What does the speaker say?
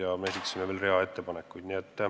Nii et me esitasime veel rea ettepanekuid.